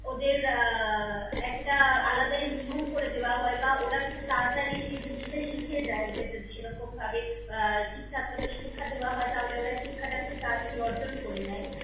ওদের আহ একটা আলাদাই নিয়ম করে দেওয়া হয় বা ওরা খুব তারাতারি সেই জিনিস টা শিখে যায় ওদের যদি সেরকম ভাবে আহ ঠিকঠাক ভাবে শিক্ষা দেওয়া হয় তাহলে ওরা শিক্ষা টা তারাতারি অর্জন করে নেয়।